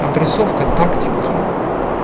опрессовка тактики